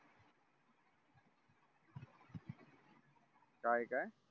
काय काय